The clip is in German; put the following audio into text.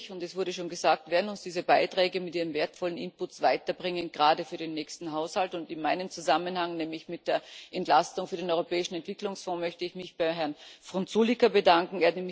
Natürlich und es wurde schon gesagt werden uns diese Beiträge mit ihren wertvollen Inputs weiterbringen, gerade für den nächsten Haushalt, und in meinem Zusammenhang, nämlich mit der Entlastung für den Europäischen Entwicklungsfonds, möchte ich mich bei Herrn Frunzulică bedanken.